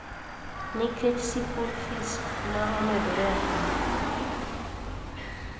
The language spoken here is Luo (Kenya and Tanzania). Nikech sikui fis ma omedore ahinya